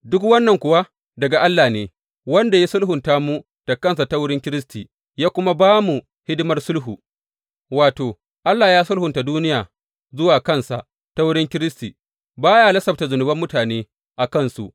Duk wannan kuwa daga Allah ne, wanda ya sulhunta mu da kansa ta wurin Kiristi, ya kuma ba mu hidimar sulhu, wato, Allah ya sulhunta duniya zuwa kansa ta wurin Kiristi, ba ya lissafta zunuban mutane a kansu.